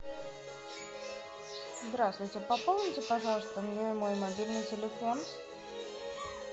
здравствуйте пополните пожалуйста мне мой мобильный телефон